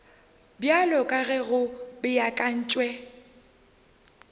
bjalo ka ge go beakantšwe